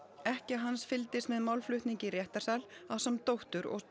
ekkja hans fylgdist með málflutningi í réttarsal ásamt dóttur og